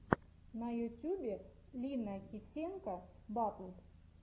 на ютюбе лина китенко батл